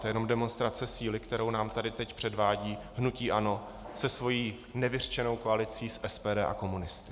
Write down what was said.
To je jenom demonstrace síly, kterou nám tady teď předvádí hnutí ANO se svou nevyřčenou koalicí s SPD a komunisty.